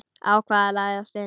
Ákvað að læðast inn.